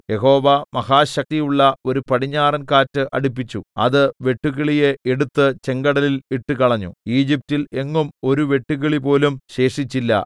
യഹോവ മഹാശക്തിയുള്ള ഒരു പടിഞ്ഞാറൻ കാറ്റ് അടിപ്പിച്ചു അത് വെട്ടുക്കിളിയെ എടുത്ത് ചെങ്കടലിൽ ഇട്ടുകളഞ്ഞു ഈജിപ്റ്റിൽ എങ്ങും ഒരു വെട്ടുക്കിളിപോലും ശേഷിച്ചില്ല